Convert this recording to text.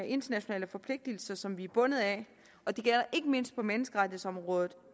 internationale forpligtelser som vi er bundet af og det gælder ikke mindst på menneskerettighedsområdet